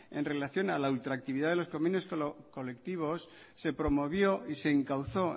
en relación a la ultraactividad de los convenios colectivos se promovió y se encauzó